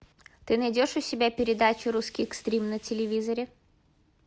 ты найдешь у себя передачу русский экстрим на телевизоре